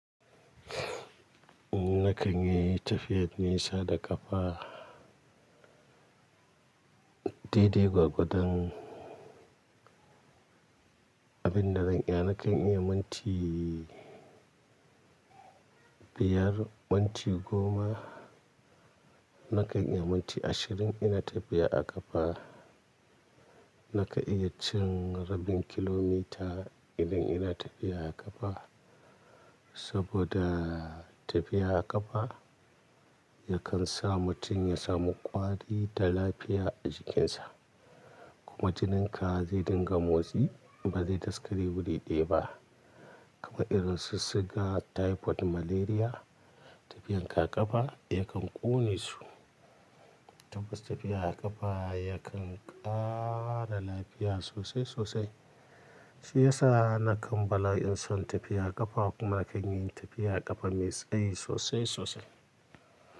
Nakan iyayi tafiyar nisa da ƙafa. Dede gwagwadon abin da zan iya, nakan iya minti biyar, minti goma. Nakan iya minti ashirin ina tafiya a ƙafa. Nakan iya cin rabin kilomita idan ina tafiya a ƙafa. Saboda tafiya a ƙafa yakan sa mutum ya samu ƙwari da lafiya a jikinsa. Kuma jinin ka zai dinga motsi ba zai daskare wuri ɗaya ba. Kuma irin su sugar, typhoid, malaria tafiyar ƙaƙafa yakan ƙone su. Tabbas tafiya a ƙafa yakan ƙara lafiya sosai sosai. Shi ya sa nakan bala'in son tafiya aƙafa kuma nakan yi tafiya a ƙafa mai tsayi sosai sosai.